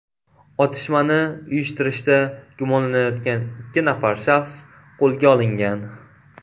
Otishmani uyushtirishda gumonlanayotgan ikki nafar shaxs qo‘lga olingan.